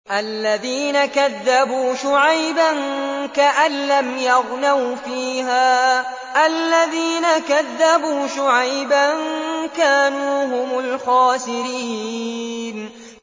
الَّذِينَ كَذَّبُوا شُعَيْبًا كَأَن لَّمْ يَغْنَوْا فِيهَا ۚ الَّذِينَ كَذَّبُوا شُعَيْبًا كَانُوا هُمُ الْخَاسِرِينَ